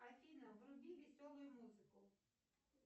афина вруби веселую музыку